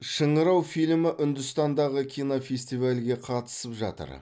шыңырау фильмі үндістандағы кинофестивальге қатысып жатыр